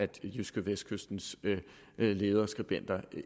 jydskevestkystens lederskribenter